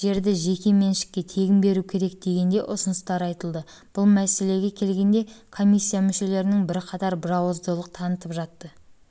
жерді жеке меншікке тегін беру керек деген де ұсыныстар айтылды бұл мәселеге келгенде комиссия мүшелерінің бірқатар бірауыздылық танытып жатты